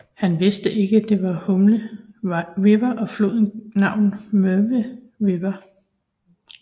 Han vidste ikke det var Hume River og gav floden navnet Murray River